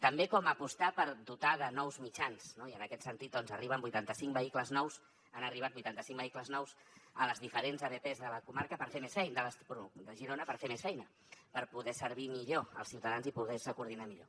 també com apostar per dotar de nous mitjans no i en aquest sentit doncs arriben vuitanta cinc vehicles nous han arribat vuitanta cinc vehicles nous a les diferents abps de les comarques de girona per fer més feina per poder servir millor als ciutadans i poder se coordinar millor